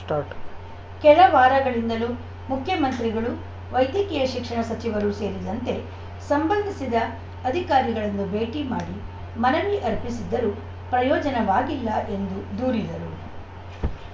start ಕೆಲ ವಾರಗಳಿಂದಲೂ ಮುಖ್ಯಮಂತ್ರಿಗಳು ವೈದ್ಯಕೀಯ ಶಿಕ್ಷಣ ಸಚಿವರು ಸೇರಿದಂತೆ ಸಂಬಂಧಿಸಿದ ಅಧಿಕಾರಿಗಳನ್ನೂ ಭೇಟಿ ಮಾಡಿ ಮನವಿ ಅರ್ಪಿಸಿದ್ದರೂ ಪ್ರಯೋಜನವಾಗಿಲ್ಲ ಎಂದು ದೂರಿದರು